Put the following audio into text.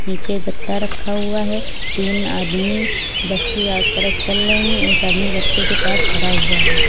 नीचे गत्ता रखा हुआ है तीन आदमी बस की तरफ चल रहे हैं एक आदमी गत्ते के पास खड़ा हुआ है।